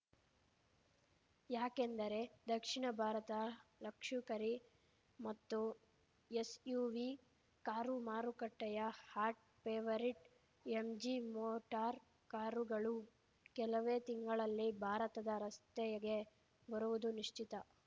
ಯಾಕೆಂದರೆ ದಕ್ಷಿಣ ಭಾರತ ಲಕ್ಷುಕರಿ ಮತ್ತು ಎಸ್‌ಯುವಿ ಕಾರು ಮಾರುಕಟ್ಟೆಯ ಹಾಟ್‌ ಫೇವರಿಟ್‌ ಎಂಜಿ ಮೋಟಾರ್‌ ಕಾರುಗಳು ಕೆಲವೇ ತಿಂಗಳಲ್ಲಿ ಭಾರತದ ರಸ್ತೆಗೆ ಬರುವುದು ನಿಶ್ಚಿತ